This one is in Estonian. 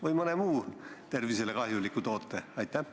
Või on kõne all olnud mõni muu tervisele kahjulik toode?